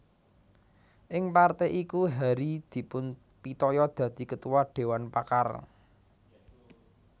Ing partai iku Hary dipunpitaya dadi Ketua Dewan Pakar